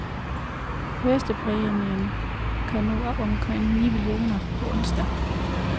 Førstepræmien kan nå op omkring ni millioner på onsdag.